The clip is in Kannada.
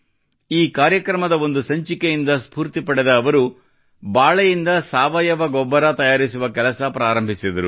ಈ ಕಾರ್ಯಕ್ರಮದ ಒಂದು ಸಂಚಿಕೆಯಿಂದ ಸ್ಫೂರ್ತಿ ಪಡೆದ ಅವರು ಬಾಳೆಯಿಂದ ಸಾವಯವ ಗೊಬ್ಬರ ತಯಾರಿಸುವ ಕೆಲಸ ಪ್ರಾರಂಭಿಸಿದರು